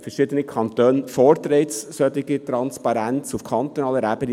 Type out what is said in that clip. Verschiedene Kantone fordern eine solche Transparenz auf kantonaler Ebene.